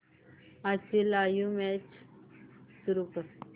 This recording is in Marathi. आजची लाइव्ह मॅच सुरू कर